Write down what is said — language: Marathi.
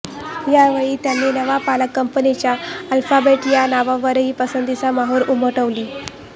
या वेळी त्यांनी नव्या पालक कंपनीच्या अल्फाबेट या नावावरही पसंतीची मोहोर उमटवली